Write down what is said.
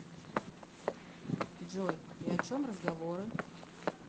джой и о чем разговоры